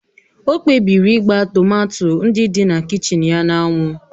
O kpebiri ịgba tomato ndị dị na kichin ya na anwụ